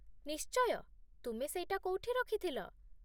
ନିଶ୍ଚୟ, ତୁମେ ସେଇଟା କୋଉଠି ରଖିଥିଲ?